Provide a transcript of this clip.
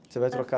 Você vai trocar